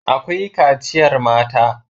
Akwai kaciyar mata.